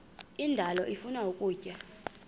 indalo ifuna ukutya